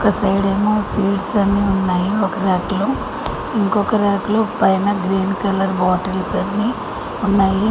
ఒక సైడ్ ఏమో స్వీట్ అన్ని ఉన్నాయి ఒక ర్యాక్ లో ఇంకొక ర్యాక్ లో పైన గ్రీన్ కలర్ బాటిల్స్ అన్ని ఉన్నాయి.